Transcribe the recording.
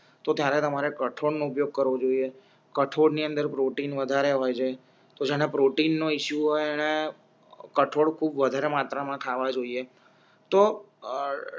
તો ત્યરે તમારે કઠોળનો ઉપયોગ કરવો જોઈએ કઠોળની અંદર પ્રોટીન વધારે હોય છે તો જેને પ્રોટીનનો ઇશ્યુ હૈ એણે કઠોરદ ખૂબ વધારે માત્રામાં ખાવા જોઈએ તો અડ